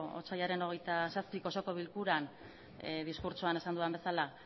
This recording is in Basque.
otsailaren hogeita zazpi osoko bilkuran diskurtsoan esan dudan bezala